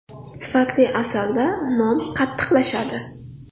Sifatli asalda non qattiqlashadi.